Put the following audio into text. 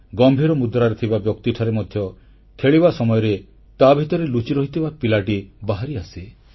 ଗମ୍ଭୀର ମୁଦ୍ରାରେ ଥିବା ବ୍ୟକ୍ତିଠାରେ ମଧ୍ୟ ଖେଳିବା ସମୟରେ ତା ଭିତରେ ଲୁଚି ରହିଥିବା ପିଲାଟି ବାହାରିଆସେ